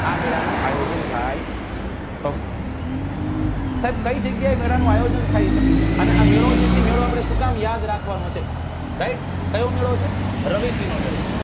આ મેળા નું આયોજન થાય છ ok સાહેબ કઈ જગ્યા એ મેળા નું આયોજન થાય છે અને આ મેળો જે છે એ આપડે શું કામ યાદ રાખવા નો છે right કયો મેળો છે રવેચી નો મેળો